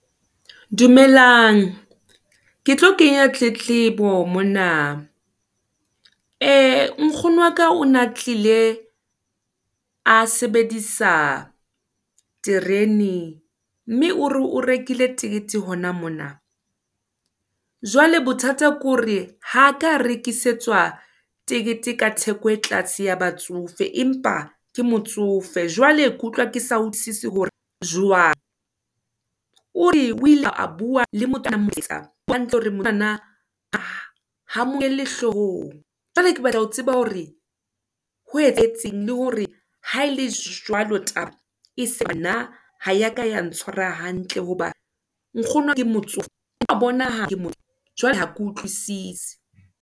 Dumelang, ke tlo kenya tletlebo mona, ee nkgono waka o na tlile, a sebedisa terene, mme o re o rekile tekete hona mona. Jwale bothata ke hore, ha a ka a rekisetswa tekete ka theko e tlase, ya batsofe, empa ke motsofe, jwale ke utlwa ke sa utlwisise hore jwang, o re o ile a bua le motho a neng a morekisetsa, jwale ha bua hantle hore monana, ha mo nkele hlohong, jwale ke batla ho tseba hore, ho etsahetseng, le hore ha ele jwalo taba, wa utlwa hore nna, ha ya ka ya ntshwara hantle, hobane nkgono ke motsofe, wa bonaha ke motsofe, jwale ha ke utloisise.